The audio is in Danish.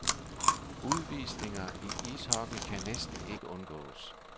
Udvisninger i ishockey kan næsten ikke undgås.